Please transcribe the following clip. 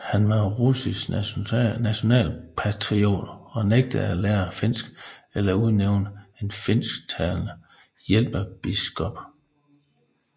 Han var russisk nationalpatriot og nægtede at lære finsk eller udnævne en finsktalende hjælpebiskop